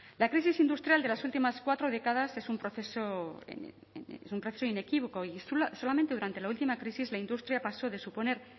la crisis industrial de las últimas cuatro décadas es un proceso inequívoco y solamente durante la última crisis la industria pasó de suponer